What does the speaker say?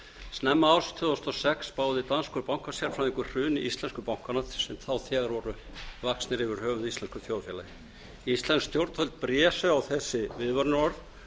snemma árs tvö þúsund og sex spáði danskur bankasérfræðingur hruni íslensku bankanna sem þá þegar voru vaxnir yfir höfuð íslensku þjóðfélagi íslensk stjórnvöld blésu á þessi viðvörunarorð